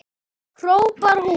Við höfum misst mikinn tíma.